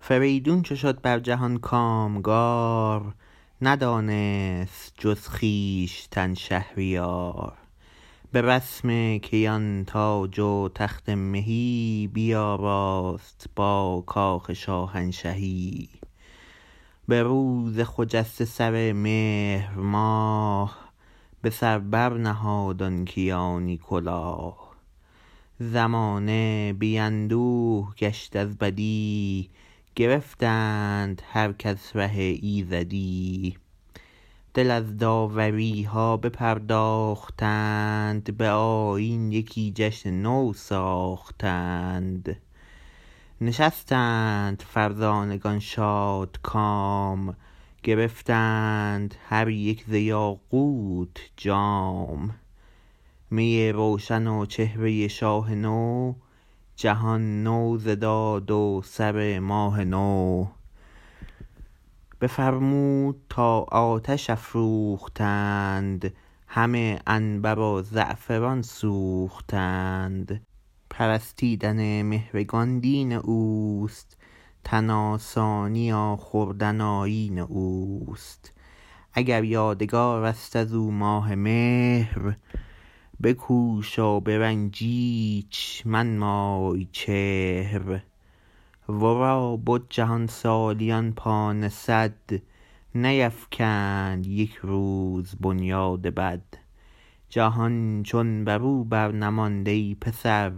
فریدون چو شد بر جهان کامگار ندانست جز خویشتن شهریار به رسم کیان تاج و تخت مهی بیاراست با کاخ شاهنشهی به روز خجسته سر مهر ماه به سر بر نهاد آن کیانی کلاه زمانه بی اندوه گشت از بدی گرفتند هر کس ره ایزدی دل از داوری ها بپرداختند به آیین یکی جشن نو ساختند نشستند فرزانگان شادکام گرفتند هر یک ز یاقوت جام می روشن و چهره شاه نو جهان نو ز داد و سر ماه نو بفرمود تا آتش افروختند همه عنبر و زعفران سوختند پرستیدن مهرگان دین اوست تن آسانی و خوردن آیین اوست اگر یادگار است از او ماه مهر بکوش و به رنج ایچ منمای چهر ورا بد جهان سالیان پانصد نیفکند یک روز بنیاد بد جهان چون برو بر نماند ای پسر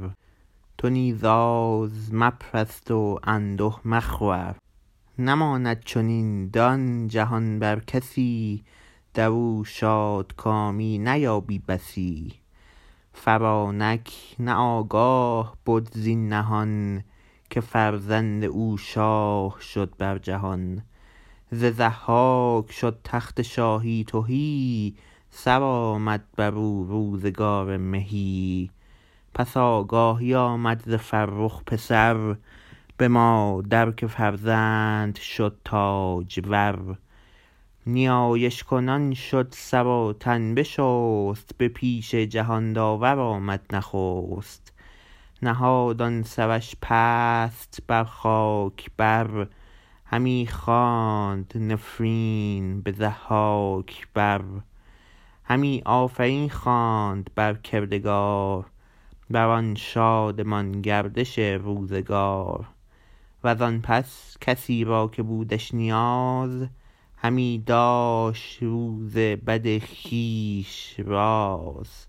تو نیز آز مپرست و انده مخور نماند چنین دان جهان بر کسی درو شادکامی نیابی بسی فرانک نه آگاه بد زین نهان که فرزند او شاه شد بر جهان ز ضحاک شد تخت شاهی تهی سرآمد برو روزگار مهی پس آگاهی آمد ز فرخ پسر به مادر که فرزند شد تاجور نیایش کنان شد سر و تن بشست به پیش جهان داور آمد نخست نهاد آن سرش پست بر خاک بر همی خواند نفرین به ضحاک بر همی آفرین خواند بر کردگار بر آن شادمان گردش روزگار وزان پس کسی را که بودش نیاز همی داشت روز بد خویش راز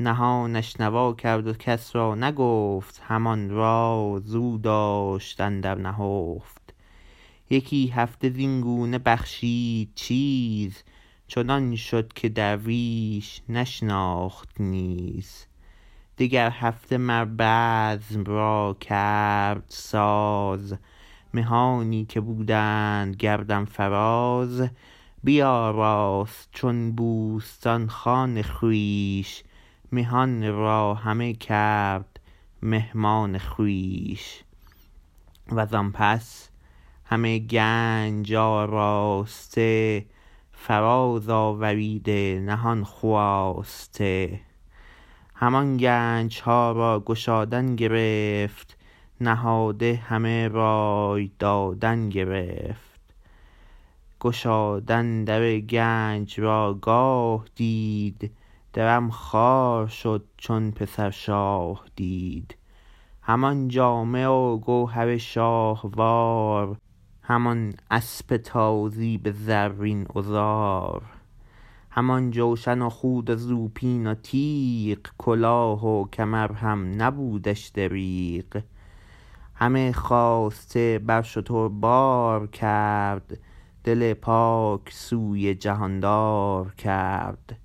نهانش نوا کرد و کس را نگفت همان راز او داشت اندر نهفت یکی هفته زین گونه بخشید چیز چنان شد که درویش نشناخت نیز دگر هفته مر بزم را کرد ساز مهانی که بودند گردن فراز بیاراست چون بوستان خان خویش مهان را همه کرد مهمان خویش وزان پس همه گنج آراسته فراز آوریده نهان خواسته همان گنج ها را گشادن گرفت نهاده همه رای دادن گرفت گشادن در گنج را گاه دید درم خوار شد چون پسر شاه دید همان جامه و گوهر شاهوار همان اسپ تازی به زرین عذار همان جوشن و خود و زوپین و تیغ کلاه و کمر هم نبودش دریغ همه خواسته بر شتر بار کرد دل پاک سوی جهاندار کرد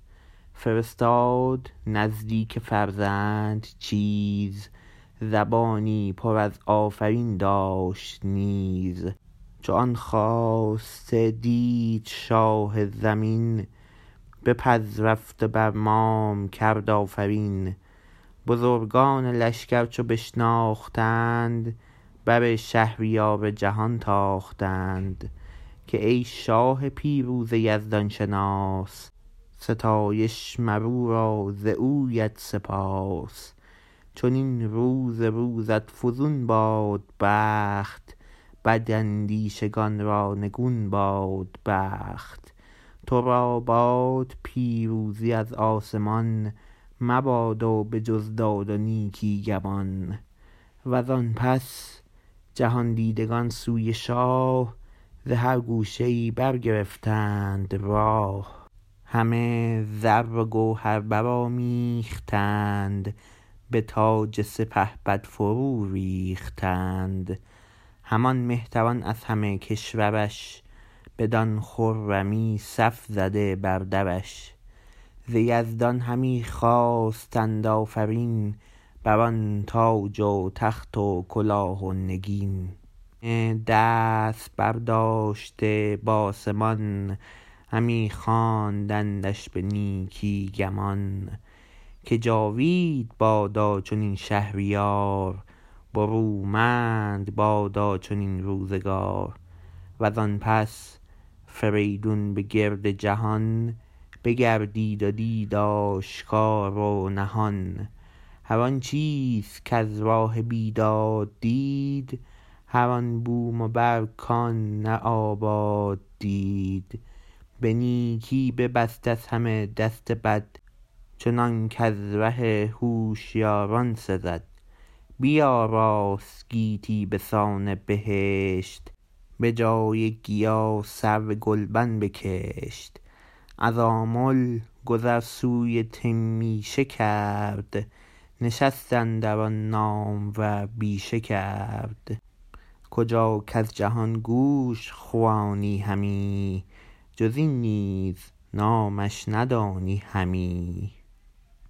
فرستاد نزدیک فرزند چیز زبانی پر از آفرین داشت نیز چو آن خواسته دید شاه زمین بپذرفت و بر مام کرد آفرین بزرگان لشگر چو بشناختند بر شهریار جهان تاختند که ای شاه پیروز یزدان شناس ستایش مر او را و زویت سپاس چنین روز روزت فزون باد بخت بد اندیشگان را نگون باد بخت تو را باد پیروزی از آسمان مبادا به جز داد و نیکی گمان و زآن پس جهان دیدگان سوی شاه ز هر گوشه ای برگرفتند راه همه زر و گوهر برآمیختند به تاج سپهبد فرو ریختند همان مهتران از همه کشور ش بدان خرمی صف زده بر درش ز یزدان همی خواستند آفرین بر آن تاج و تخت و کلاه و نگین همه دست برداشته بآسمان همی خواندندش به نیکی گمان که جاوید بادا چنین شهریار برومند بادا چنین روزگار و زآن پس فریدون به گرد جهان بگردید و دید آشکار و نهان هر آن چیز کز راه بیداد دید هر آن بوم و بر کآن نه آباد دید به نیکی ببست از همه دست بد چنانک از ره هوشیاران سزد بیاراست گیتی بسان بهشت به جای گیا سرو گلبن بکشت از آمل گذر سوی تمیشه کرد نشست اندر آن نامور بیشه کرد کجا کز جهان گوش خوانی همی جز این نیز نامش ندانی همی